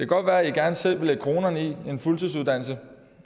godt være at i gerne selv vil lægge kronerne i en fuldtidsuddannelse